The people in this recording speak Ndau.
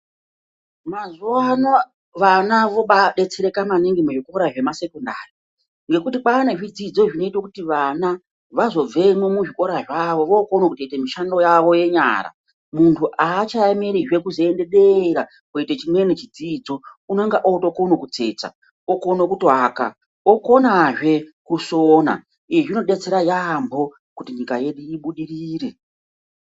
Mazuva ano vana vibadetsereka maningi muzvikora zvemasekondari nekuti kwane zvidzidzo zvinoite kuti vana vazobvemwo muzvikora zvavo votoite mushando yavo yenyara muntu aachaemerizve kutoende dera koite chinweni chidzidzo unonga otokone kutsetsa, okone kuaka okonazve kusona izvi zvinodetsera yambo kuti nyika yedu ibudirire.